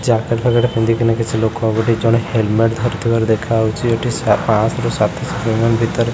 jacket ଫ୍ୟାକେଟ ପିନ୍ଧିକିନା କିଛି ଲୋକ ଗୋଟେ ଜଣେ ଲୋକ ହେଲମେଟ ଧରିଥିବାର ଦେଖାଯାଉଛି ଗୋଟେ ପାଅନଶ୍ ସାତଶହ ପେମେଣ୍ଟ୍ ଭିତରେ --